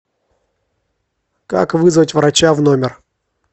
как вызвать врача в номер